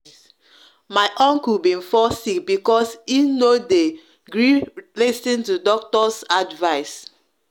my uncle been fall sick bcos him no de gree lis ten to doctors advice